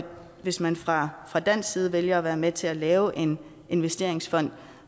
hvis man fra fra dansk side vælger at være med til at lave en investeringsfond